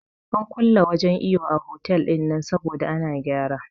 An kulle wajen iyo a otal ɗinnan saboda ana gyara